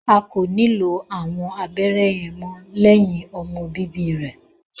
A ko nilo awọn abẹrẹ yẹn mọ lẹhin ọmọ bíbí rẹ